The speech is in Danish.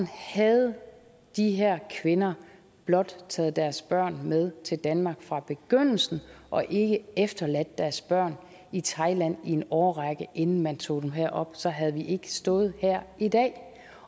havde de her kvinder blot taget deres børn med til danmark fra begyndelsen og ikke efterladt deres børn i thailand i en årrække inden man tog dem herop så havde vi ikke stået her i dag